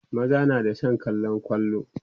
maza na da San kallan kwallo